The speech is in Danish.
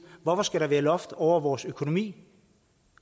hvorfor skal der være loft over vores økonomi